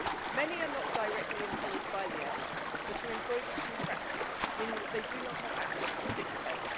Many are not directly employed by the airline but are employed as contractors, meaning that they do not have access to sick pay.